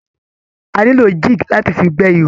A nílò jig láti fi gbé ihò.